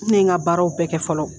Ne n ka baaraw bɛɛ kɛ fɔlɔ